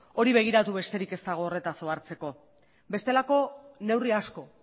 hori begiratu besterik ez dago horretaz ohartzeko bestelako neurri asko